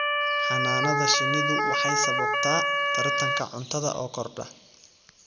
Xannaanada shinnidu waxay sababtaa tartanka cuntada oo kordha.